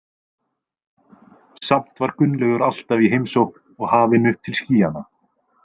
Samt var Gunnlaugur alltaf í heimsókn og hafinn upp til skýjanna.